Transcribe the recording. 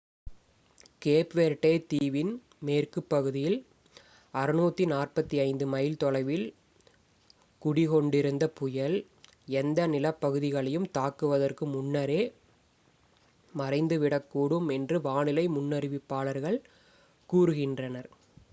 gap Verde தீவின் மேற்குப் பகுதியில் 645 மைல் 1040 கிமீ தொலைவில் குடிகொண்டிருந்த புயல் எந்த நிலப்பகுதிகளையும் தாக்குவதற்கு முன்னரே மறைந்துவிடக்கூடும் என்று வானிலை முன்னறிவிப்பாளர்கள் கூறுகின்றனர்